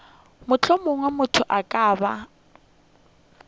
mohlomongwe motho a ka ba